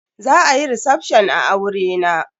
Za a yi recefshon a aurena.